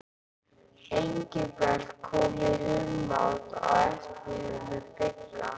Engilbert kom í humátt á eftir þeim með Bigga.